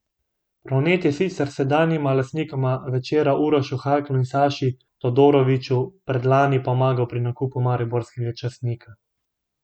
Pronet je sicer sedanjima lastnikoma Večera Urošu Haklu in Saši Todoroviću predlani pomagal pri nakupu mariborskega časnika.